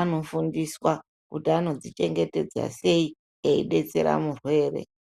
anofundiswa kuti anodzichengetedza sei eidetsera murwere.